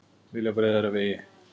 Vilja breiðari vegi